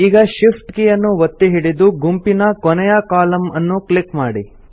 ಈಗ Shift key ಅನ್ನು ಒತ್ತಿ ಹಿಡಿದು ಗುಂಪಿನ ಕೊನೆಯ ಕಾಲಮ್ ಅನ್ನುಕ್ಲಿಕ್ ಮಾಡಿ